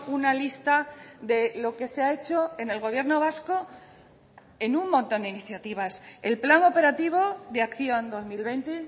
una lista de lo que se ha hecho en el gobierno vasco en un montón de iniciativas el plan operativo de acción dos mil veinte